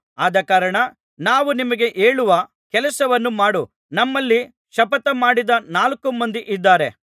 ಅದಕಾರಣ ನಾವು ನಿನಗೆ ಹೇಳುವ ಕೆಲಸವನ್ನು ಮಾಡು ನಮ್ಮಲ್ಲಿ ಶಪಥಮಾಡಿದ ನಾಲ್ಕುಮಂದಿ ಇದ್ದಾರೆ